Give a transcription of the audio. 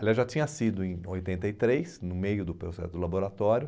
Aliás, já tinha sido em oitenta e três, no meio do processo do laboratório,